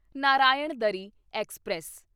Narayanadri express